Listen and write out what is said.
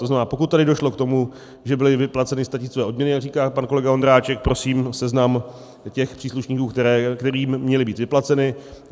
To znamená, pokud tady došlo k tomu, že byly vyplaceny statisícové odměny, jak říká pan kolega Ondráček, prosím seznam těch příslušníků, kterým měly být vyplaceny.